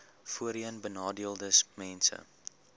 voorheenbenadeeldesmense